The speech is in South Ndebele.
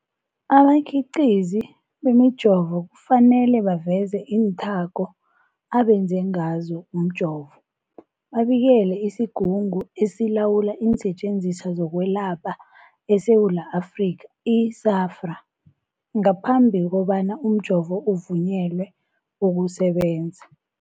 Abakhiqizi bemijovo kufanele baveze iinthako abenze ngazo umjovo, babikele isiGungu esiLawula iinSetjenziswa zokweLapha eSewula Afrika, i-SAHPRA, ngaphambi kobana umjovo uvunyelwe ukusebenza.